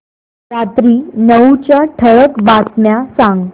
रात्री नऊच्या ठळक बातम्या सांग